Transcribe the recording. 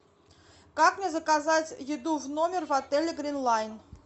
как мне заказать еду в номер в отеле гринлайн